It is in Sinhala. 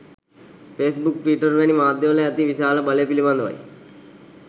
ෆේස් බුක් ට්විටර් වැනි මාධ්‍ය වල ඇති විශාල බලය පිළිබඳවයි